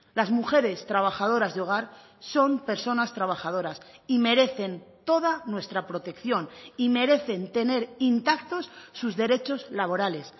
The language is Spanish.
las mujeres trabajadoras de hogar son personas trabajadoras y merecen toda nuestra protección y merecen tener intactos sus derechos laborales